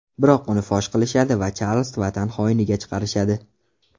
Biroq uni fosh qilishadi va Charlz vatan xoiniga chiqarishadi.